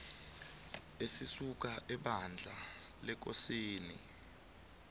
esisuka ebandla lekosaneni